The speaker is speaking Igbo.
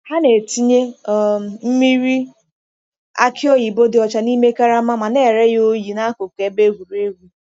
Ha na-etinye um mmiri aki oyibo dị ọcha n’ime karama ma na-ere ya oyi n’akụkụ ebe egwuregwu.